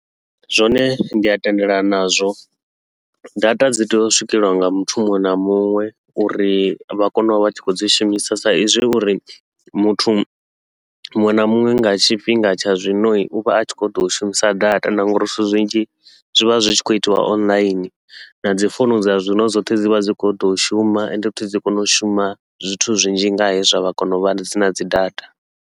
Zwone ndi a tendelana nazwo, data dzi tea u swikelelwa nga muthu muṅwe na muṅwe uri vha kone uvha vha tshi khou dzi shumisa sa izwi uri muthu muṅwe na muṅwe nga tshifhinga tsha zwino, uvha a tshi khou ṱoḓa u shumisa data na ngauri zwithu zwinzhi zwivha zwi tshi khou itiwa online nadzi founu dza zwino dzoṱhe dzivha dzi kho ḓo shuma, ende futhi dzi kone u shuma zwithu zwinzhi nga hezwi vha kona uvha dz na dzi data.